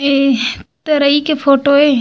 ए तरई के फोटो ए --